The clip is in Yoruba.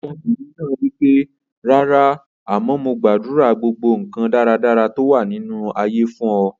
Ọmọbìnrin náà wípé "rárá, àmọ́ mo gbàdúrà gbogbo nkan dáradára tó wà ní inú ayé fún ọ".